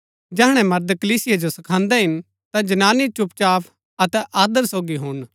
जैहणै मर्द कलीसिया जो सखान्दै हिन ता जनानी चुपचाप अतै आदर सोगी हुणन